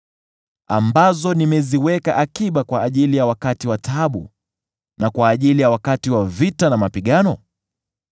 ambazo nimeziweka akiba kwa ajili ya wakati wa taabu, na kwa ajili ya wakati wa vita na mapigano?